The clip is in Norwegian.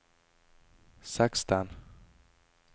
seksten